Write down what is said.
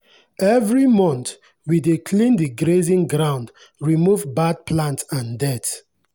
every month we dey clean the grazing ground remove bad plant and dirt.